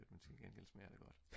men til gengæld smager det godt